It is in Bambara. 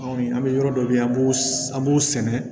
An bɛ yɔrɔ dɔ bɛ yen an b'u an b'u sɛnɛ